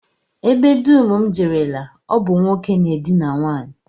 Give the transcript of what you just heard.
Ebe dum m jerela, ọ bụ nwoke na-edina nwaanyị